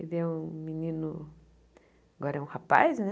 Ele é um menino... Agora é um rapaz, né?